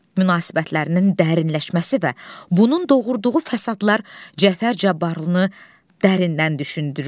münasibətlərinin dərinləşməsi və bunun doğurduğu fəsadlar Cəfər Cabbarlını dərindən düşündürür.